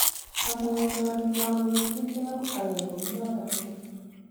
omwoun ale mawekchinigeu ayai kou noto kokeny